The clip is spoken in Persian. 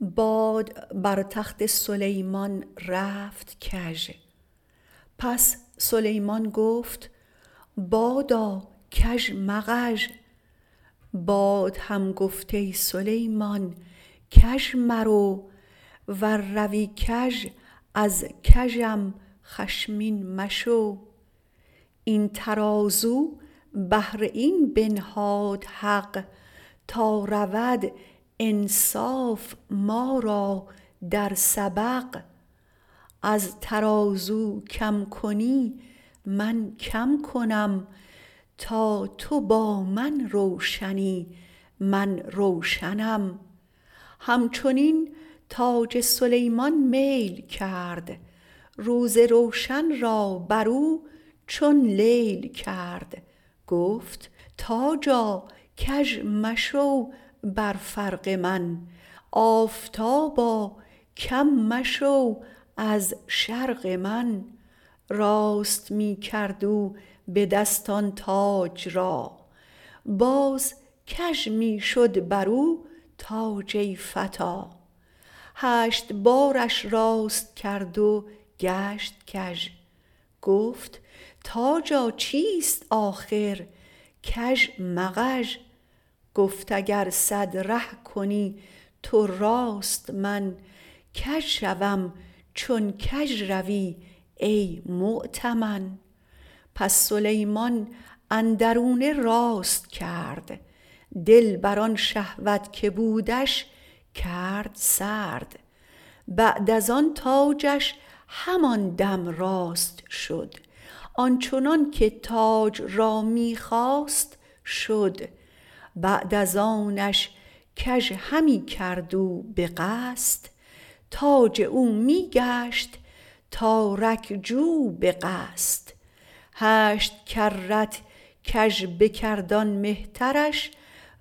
باد بر تخت سلیمان رفت کژ پس سلیمان گفت بادا کژ مغژ باد هم گفت ای سیلمان کژ مرو ور روی کژ از کژم خشمین مشو این ترازو بهر این بنهاد حق تا رود انصاف ما را در سبق از ترازو کم کنی من کم کنم تا تو با من روشنی من روشنم هم چنین تاج سلیمان میل کرد روز روشن را برو چون لیل کرد گفت تاجا کژ مشو بر فرق من آفتابا کم مشو از شرق من راست می کرد او به دست آن تاج را باز کژ می شد برو تاج ای فتی هشت بارش راست کرد و گشت کژ گفت تاجا چیست آخر کژ مغژ گفت اگر صد ره کنی تو راست من کژ شوم چون کژ روی ای مؤتمن پس سلیمان اندرونه راست کرد دل بر آن شهوت که بودش کرد سرد بعد از آن تاجش همان دم راست شد آنچنان که تاج را می خواست شد بعد از آنش کژ همی کرد او به قصد تاج او می گشت تارک جو به قصد هشت کرت کژ بکرد آن مهترش